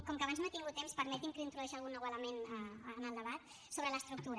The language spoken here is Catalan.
com que abans no he tingut temps permeti’m que introdueixi algun nou element en el debat sobre l’estructura